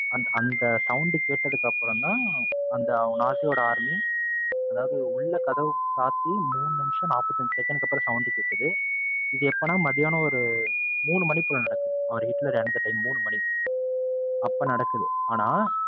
அதாவது உள்ள கதவு சாத்தி மூணு நிமிஷம் நாற்பத்தி அஞ்சு second க்கு அப்பறம் sound கேக்குது, இது எப்பனா மத்தியானம் ஒரு மூணு மணி போல நடக்குது. அவரு ஹிட்லர் இறந்த time மூணு மணி அப்போ நடக்குது ஆனா,